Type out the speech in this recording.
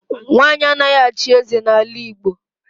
Nwanyị anaghị achị eze n'ala Igbo.